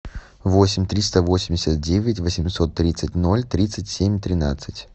восемь триста восемьдесят девять восемьсот тридцать ноль тридцать семь тринадцать